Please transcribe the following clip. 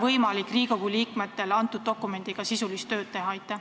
Miks ei ole Riigikogu liikmetel võimalik selle dokumendiga sisulist tööd teha?